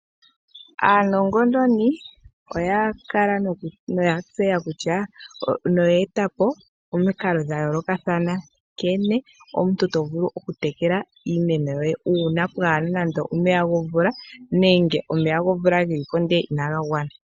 Aanongononi oya kala noya tseya kutya noye eta po omiikalo dha yolokathana nkene omuntu to vulu oku tekela iimeno yoye una pwaana nando omeya gomvula nenge omeya gomvula geliko ndele inaga gwana.